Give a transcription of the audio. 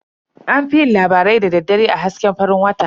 An fi yin labarai da daddare a hasken farin wata.